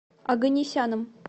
оганесяном